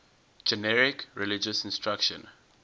generic religious instruction